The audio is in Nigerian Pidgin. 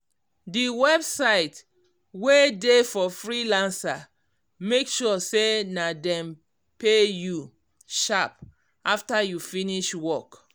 d website wey dey for freelancer make sure say dem pay you sharp after you finish work